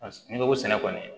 N'i ko sɛnɛ kɔni